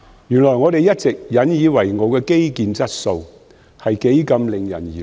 原來，我們一直引以為傲的基建質素是多麼惹人疑慮。